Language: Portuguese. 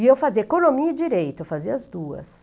E eu fazia economia e direito, eu fazia as duas.